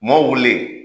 Mɔw wulilen